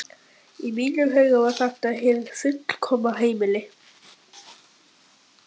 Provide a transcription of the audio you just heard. Í mínum huga var þetta hið fullkomna heimili.